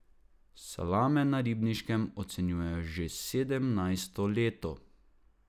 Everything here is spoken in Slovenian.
Salame na Ribniškem ocenjujejo že sedemnajsto leto.